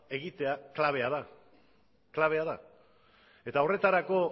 egitea klabea da eta horretarako